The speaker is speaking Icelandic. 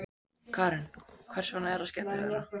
Karen: Hvers vegna er það skemmtilegra?